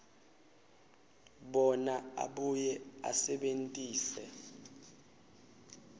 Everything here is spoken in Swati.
bona abuye asebentise